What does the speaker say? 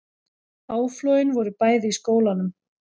Áflogin voru bæði í skólanum